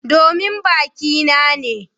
Domin baki na ne.